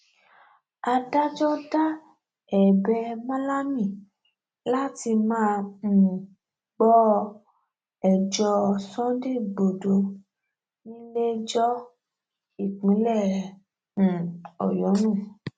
adájọ da ẹbẹ malami láti má um gbọ ẹjọ sunday igbodò níléẹjọ ìpínlẹ um ọyọ nù